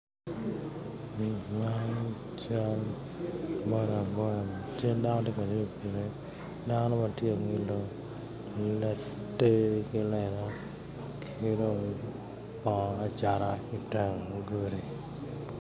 Man cal bodaboda cal dano ma tye ka ngwec ki pikipiki, dano ma tye ka ngilo ngilo te ki lela ki dong bongo acatta iteng gudi.